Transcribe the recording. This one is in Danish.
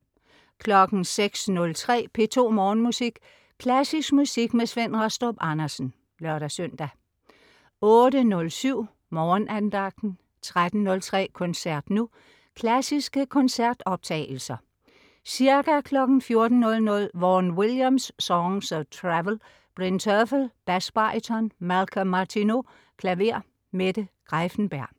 06.03 P2 Morgenmusik. Klassisk musik med Svend Rastrup Andersen (lør-søn) 08.07 Morgenandagten 13.03 Koncert nu. Klassiske koncertoptagelser. Ca. 14.00 Vaughan Williams: Songs of Travel. Bryn Terfel, basbaryton, Malcolm Martineau, klaver. Mette Greiffenberg